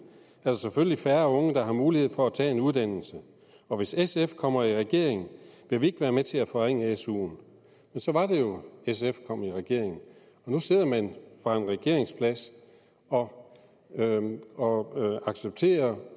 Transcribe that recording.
der selvfølgelig færre unge der har mulighed for at tage en uddannelse og hvis sf kommer i regering vil vi ikke være med til at forringe suen så var det jo sf kom i regering og nu sidder man fra en regeringsplads og og accepterer